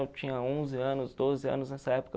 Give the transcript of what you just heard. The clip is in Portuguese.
Eu tinha onze anos, doze anos nessa época.